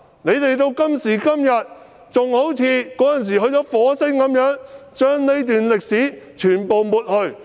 他們到今天仍然好像住在火星般，要將這段歷史完全抹去。